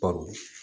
Baro